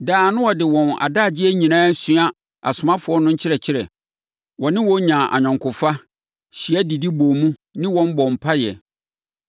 Daa na wɔde wɔn adagyeɛ nyinaa sua asomafoɔ no nkyerɛkyerɛ. Wɔne wɔn nyaa ayɔnkofa, hyia didi bɔɔ mu ne wɔn bɔɔ mpaeɛ.